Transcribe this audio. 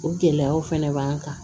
O gɛlɛyaw fɛnɛ b'an kan